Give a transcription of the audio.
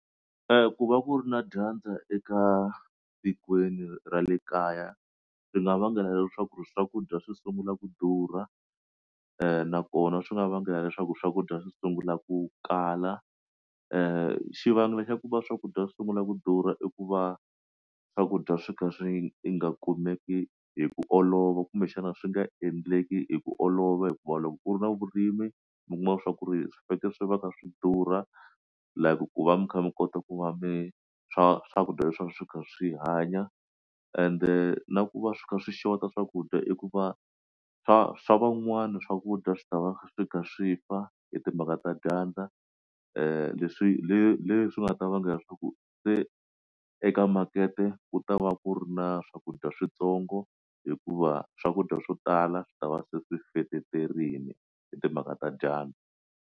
ku va ku ri na dyandza eka tikweni ra le kaya swi nga vangela leswaku swakudya swi sungula ku durha nakona swi nga vangela leswaku swakudya swi sungula ku kala xivangelo xa ku va swakudya swi sungula ku durha i ku va swakudya swi kha swi i nga kumeki hi ku olova kumbexana swi nga endleki hi ku olova hikuva loko ku ri na vurimi mi kuma swa ku ri swi fanekele swi va ka swi durha like ku va mi kha mi kota ku va mi swa swakudya leswi swo ka swi hanya ende na ku va swi kha swi xotaka swakudya i ku va swa swa van'wana swakudya swi ta va swi nga swi fa hi timhaka ta dyandza leswi leswi nga ta vangela leswaku se eka makete ku ta va ku ri na swakudya switsongo hikuva swakudya swo tala swi ta va se swi feterile hi timhaka ta dyandza